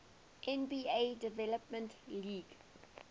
nba development league